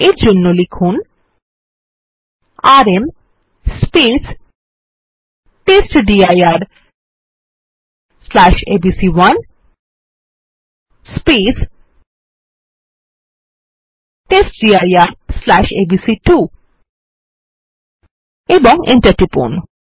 এই জন্য লিখুন আরএম testdirএবিসি1 testdirএবিসি2 এবং এন্টার টিপুন